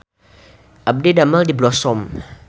Abdi didamel di Blossom